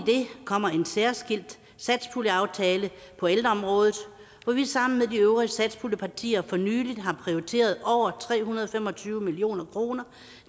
kommer en særskilt satspuljeaftale på ældreområdet hvor vi sammen med de øvrige satspuljepartier for nylig har prioriteret over tre hundrede og fem og tyve million kroner